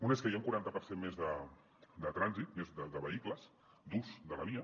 una és que hi ha un quaranta per cent més de trànsit més de vehicles d’ús de la via